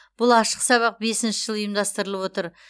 бұл ашық сабақ бесінші жыл ұйымдастырылып отыр